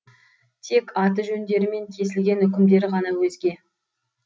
тек аты жөндері мен кесілген үкімдері ғана өзге